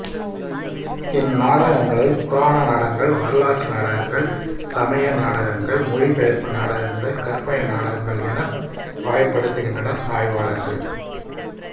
இந்நாடகங்களை புராண நாடகங்கள் வரலாற்று நாடகங்கள் சமய நாடகங்கள் மொழிபெயர்ப்பு நாடகங்கள் கற்பனை நாடகங்கள் எனப் வகைப்படுத்துகின்றனர் ஆய்வாளர்கள்